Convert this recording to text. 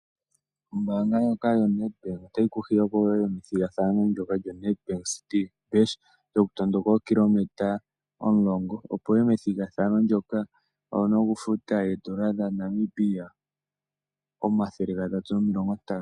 Ombaanga ndjoka yo Nedbank otayi ku hiya opo wuye me thigathano djo Nedbank citi bash yoku tondoka ookiliometa 10. Opo wuye methigathano ndoka owuna oku futa oodola dha Namibia 350.